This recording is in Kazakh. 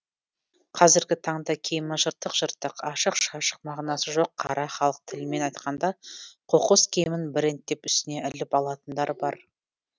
қазіргі таңда киімі жыртық жыртық ашық шашық мағынасы жоқ қара халық тілімен айтқанда қоқыс киімін брэнд деп үстіне іліп алатындар бар